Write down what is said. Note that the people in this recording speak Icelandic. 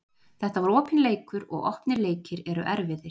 Þetta var opinn leikur og opnir leikir eru erfiðir.